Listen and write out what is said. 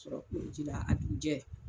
Sɔrɔ koliji la a dugujɛ.